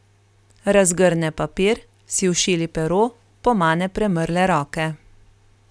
Razgrne papir, si ošili pero, pomane premrle roke.